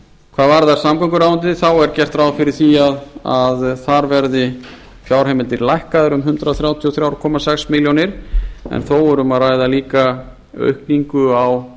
hvað varðar samgönguráðuneytið þá er gert ráð fyrir því að þar verði fjárheimildir lækkaðar um hundrað þrjátíu og þrjú komma sex milljónir en þó er um að ræða líka aukningu á